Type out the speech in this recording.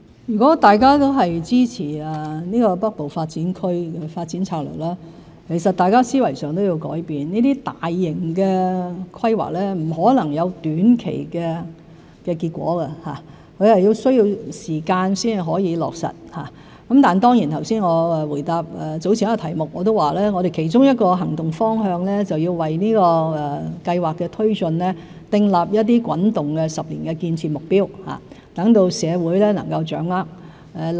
如果大家都支持《北部都會區發展策略》，大家在思維上亦需要改變，這些大型的規劃不可能短期內有結果，而是需時落實，但正如我剛才在回答早前一條問題時說過，我們其中一個行動方向是要為這項計劃的推進訂立一些滾動的10年建設目標，讓社會能夠掌握情況。